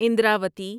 Indravati